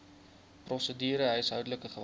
prosedure huishoudelike geweld